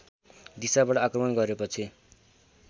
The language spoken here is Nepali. दिसाबाट आक्रमण गरेपछि